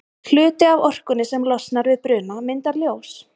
Hluti af orkunni sem losnar við bruna myndar ljós.